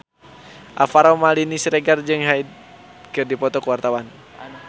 Alvaro Maldini Siregar jeung Hyde keur dipoto ku wartawan